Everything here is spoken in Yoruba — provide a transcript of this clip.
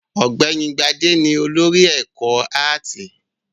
Ọ̀gbẹ́ni Gbadé ni olórí ẹ̀ka-ẹ̀kọ́ áátì.